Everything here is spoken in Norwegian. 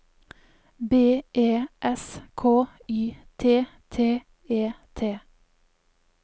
B E S K Y T T E T